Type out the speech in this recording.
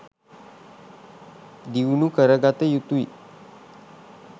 දියුණු කරගත යුතුයි